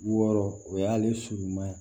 Wɔɔrɔ o y'ale suruman